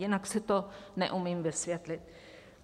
Jinak si to neumím vysvětlit.